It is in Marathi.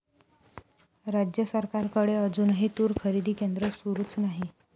राज्य सरकारकडे अजूनही तूर खरेदी केंद्र सुरूच नाही!